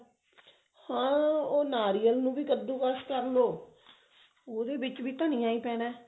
ਹਾਂ ਉਹ ਨਾਰੀਅਲ ਨੂੰ ਕੱਦੂ ਕਾਸ ਕਰਲੋ ਉਹਦੇ ਵਿੱਚ ਵੀ ਧਨੀਆ ਹੀ ਪੈਣਾ